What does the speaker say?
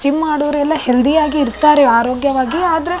gym ಮಾಡೋರೆಲ್ಲ healthy ಯಾಗಿರ್ತಾರೆ ಆರೋಗ್ಯವ್ವಗಿ ಆದ್ರೆ --